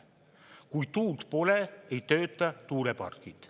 Kui tuult pole, ei tööta tuulepargid.